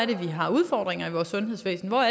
vi har udfordringer i vores sundhedsvæsen og